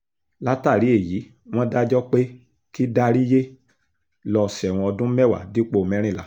látàrí èyí wọ́n dájọ́ pé kí dáríyé lọ́ọ́ sẹ́wọ̀n ọdún mẹ́wàá dípò mẹ́rìnlá